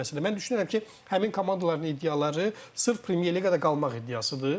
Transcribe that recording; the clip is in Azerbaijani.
Mən düşünürəm ki, həmin komandaların iddiaları sırf Premyer Liqada qalmaq iddiasıdır.